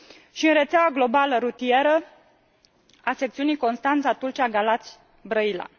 și în rețeaua globală rutieră a secțiunii Constanța Tulcea Galați Brăila.